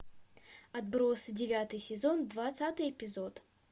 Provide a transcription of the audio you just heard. отбросы девятый сезон двадцатый эпизод